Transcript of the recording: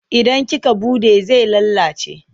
Idan kika buɗe zai lalace.